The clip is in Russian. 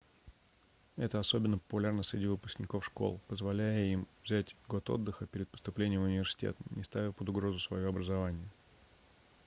это особенно популярно среди выпускников школ позволяя им взять год отдыха перед поступлением в университет не ставя под угрозу своё образование